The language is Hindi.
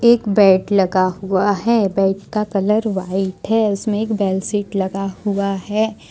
एक बेड लगा हुआ है बेड का कलर व्हाइट है उसमें एक बेडशीट लगा हुआ है।